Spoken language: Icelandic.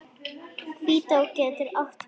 Hvítá getur átt við